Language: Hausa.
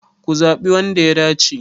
Ku zaɓi wanda ya dace!